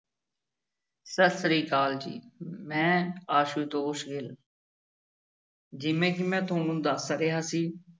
ਸਤਿ ਸ੍ਰੀ ਅਕਾਲ ਜੀ ਮੈਂ ਆਸੂਤੋਸ ਗਿੱਲ ਜਿਵੇਂ ਕਿ ਮੈਂ ਤੁਹਾਨੂੰ ਦੱਸ ਰਿਹਾ ਸੀ।